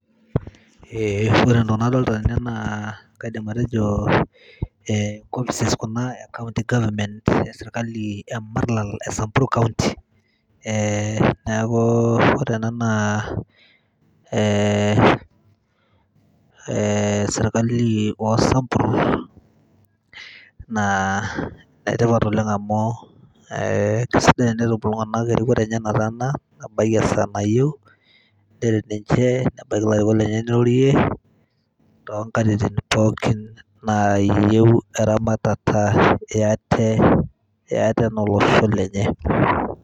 ore entoki nadolita tene naa kaidim atejo, enkopis ena ee county government ee sirkali ee marlal ee samburu county. neaku ore ena naa sirkali oo sambur, naa enetipat oleng' amuu keisidai enetum iltung'anak erikore enye nataana. ebaiki esaa nayieu pee ebaiki ilarikok lenye neirorie too nkatin pooki nayieu eramatata ee ate anaa olosho lenye.